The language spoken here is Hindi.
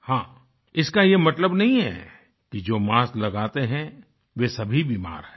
हाँ इसका ये मतलब नहीं है जो मास्क लगाते हैं वे सभी बीमार हैं